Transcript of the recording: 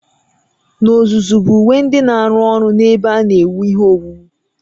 N'ozuzu bụ uwe ndị na-arụ ọrụ n'ebe a na-ewu ihe owuwu